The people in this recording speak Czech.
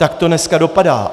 Tak to dneska dopadá.